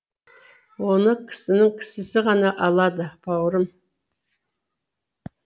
оны кісінің кісісі ғана алады бауырым